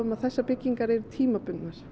að þessar byggingar eru tímabundnar